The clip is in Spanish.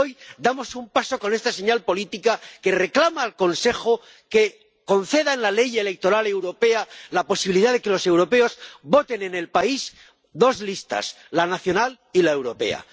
Y hoy damos un paso con esta señal política que reclama al Consejo que conceda en la ley electoral europea la posibilidad de que los europeos voten en el país dos listas, la nacional y la europea.